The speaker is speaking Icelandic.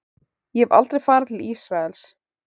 En ég hef aldrei farið til Ísraels.